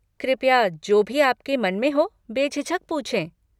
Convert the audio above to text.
कृपया जो भी आपके मन में हो बेझिझक पूछें।